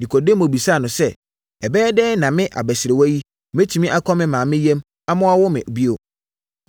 Nikodemo bisaa no sɛ, “Ɛbɛyɛ dɛn na me abasiriwa yi, bɛtumi akɔ me maame yam ama wɔawo me bio?”